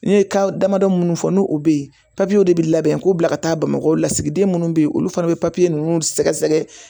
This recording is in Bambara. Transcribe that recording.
Ne ye ka damadɔ minnu fɔ n'u bɛ ye de bɛ labɛn k'u bila ka taa bamakɔ lasigiden minnu bɛ yen olu fana bɛ papiye ninnu sɛgɛsɛgɛ